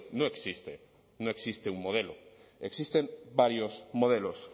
no existe no existe un modelo existen varios modelos